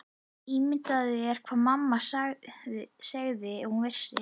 Ímyndaðu þér hvað mamma segði ef hún vissi.